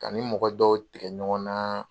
Ka n ni mɔgɔ dɔw tigɛ ɲɔgɔn na